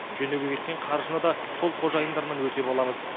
жөндеуге кеткен қаржыны да сол қожайындарынан өтеп аламыз